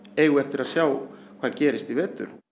eigum við eftir að sjá hvað gerist í vetur